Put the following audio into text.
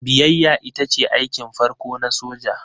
Biyayya ita ce aikin farko na soja.